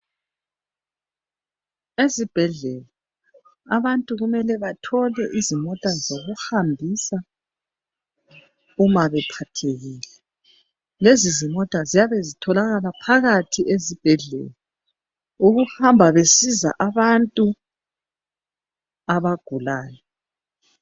Ezibhedlela abantu kumele bathole izimota zokuhambisa uma bephathekile. Lezizimota ziyabe zitholakala phakathi esibhedlela ukuhamba besiza abantu abagulayo.